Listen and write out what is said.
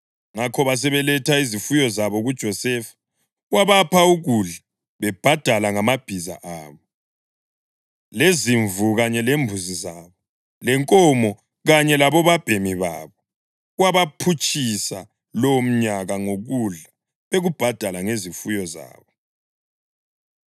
Ngakho basebeletha izifuyo zabo kuJosefa, wabapha ukudla bebhadala ngamabhiza abo, lezimvu kanye lembuzi zabo, lenkomo kanye labobabhemi babo. Wabaphutshisa lowomnyaka ngokudla bekubhadala ngezifuyo zabo.